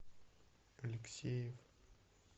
алексеев